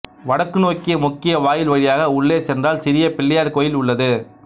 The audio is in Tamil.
வடக்கு நோக்கிய முக்கிய வாயில் வழியாக உள்ளே சென்றால் சிறிய பிள்ளையார் கோயில் உள்ளது